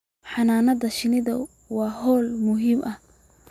Xannaanada shinnidu waa hawl muhiim ah